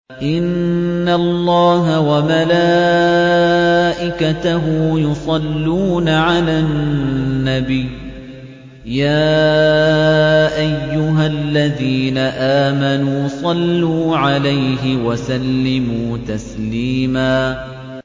إِنَّ اللَّهَ وَمَلَائِكَتَهُ يُصَلُّونَ عَلَى النَّبِيِّ ۚ يَا أَيُّهَا الَّذِينَ آمَنُوا صَلُّوا عَلَيْهِ وَسَلِّمُوا تَسْلِيمًا